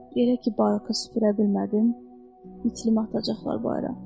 Belə ki, barkası süpürə bilmədim, itimi atacaqlar bayıra.